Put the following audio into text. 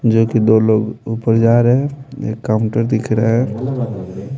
जो कि दो लोग ऊपर जा रहे हैं एक काउंटर दिख रहा है।